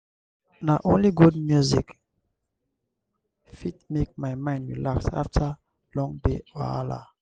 na only good music fit make my mind relax after long day wahala.